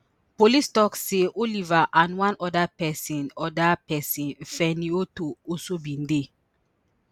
police tok say oliver and one oda pesin um oda pesin fenny otoo also bin dey